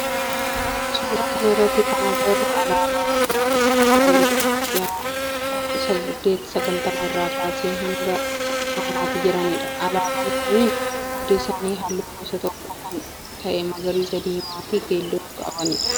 Suuraa kana irratti kan agarru alaabaa mootummoota Itiyoophiyaa bara 1890 irraa kaasee hanga ammaatti jiranidha. Alaabaan kunniin hundi isaanii halluu gosa tokkoo kan ta'e magariisa diimaa fi keelloo kan qabudha.